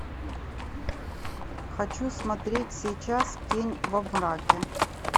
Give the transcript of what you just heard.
хочу смотреть сейчас тень во мраке